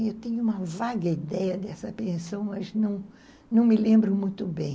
Eu tenho uma vaga ideia dessa pensão, mas não, não me lembro muito bem.